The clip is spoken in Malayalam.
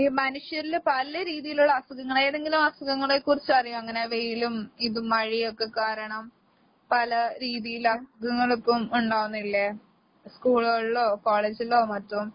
ഈ മനുഷ്യരില് പല രീതീലൊള്ള അസുഖങ്ങൾ എന്തെങ്കിലും ആ അസുഖങ്ങളെക്കുറിച്ചറിയോ അങ്ങനെ വെയിലും ഇതും മഴയൊക്കെക്കാരണം പല രീതീലെ അസുഖങ്ങളൊക്കെ ഒണ്ടാവുന്നില്ലേ? സ്കൂളുകളിലോ കോളേജിലോ മറ്റും